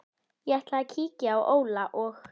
Ég ætla að kíkja á Óla og